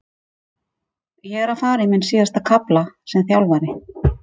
Ég er að fara í minn síðasta kafla sem þjálfari.